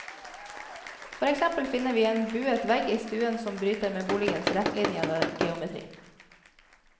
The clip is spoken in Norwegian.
For eksempel finner vi en buet vegg i stuen som bryter med boligens rettlinjede geometri.